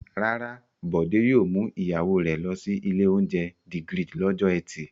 Rárá, Bọ̀dé yóò mú ìyàwó rẹ̀ lọ sí ilé-oúnjẹ The Grid lọ́jọ́ ẹtì.